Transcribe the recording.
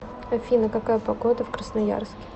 афина какая погода в красноярске